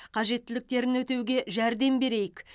қажеттіліктерін өтеуге жәрдем берейік